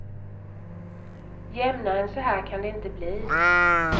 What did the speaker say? Jämnare än så här kan det inte bli.